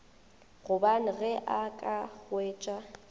gobane ge a ka hwetša